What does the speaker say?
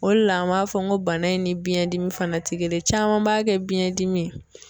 O de la an b'a fɔ n ko bana in ni biɲɛndimi fana tɛ kelen ye, caman b'a kɛ biɲɛdimi ye.